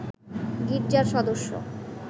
গির্জার সদস্য